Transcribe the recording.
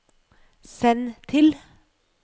send til